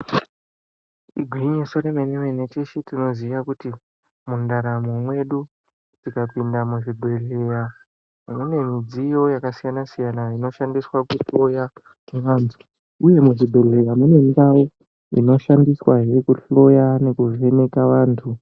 Igwinyiso yemene mene tisu tinoziya kuti mundaramo medu tikapinda muzvibhedhlera mune midziyo yakasiyana siyana inoshandiswa kunhloya vantu. uye muchibhedhlera mune ndau inoshandiswazve kunhloya nekuvheneka vantu.